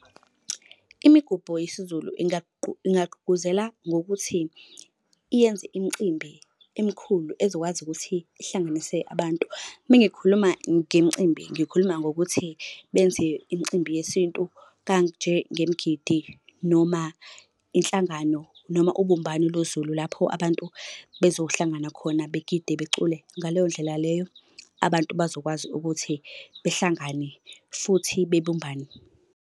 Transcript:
Imigubho yesiZulu ingagqugquzela ngokuthi yenze imicimbi emikhulu ezokwazi ukuthi ihlanganise abantu. Uma ngikhuluma ngemicimbi, ngikhuluma ngokuthi benze imicimbi yesintu kanjengemgidi noma inhlangano noma ubumbano lo Zulu, lapho abantu bezohlangana khona begide, becule. Ngaleyo ndlela leyo abantu bazokwazi ukuthi behlangane futhi bebumbane.